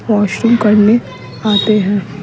washroom करने आते हैं --